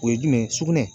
O ye jumɛn ye sugunɛ